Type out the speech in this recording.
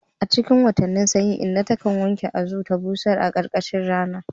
A cikin watannin sanyi, inna ta kan wanke azu ta busar a ƙarƙashin rana.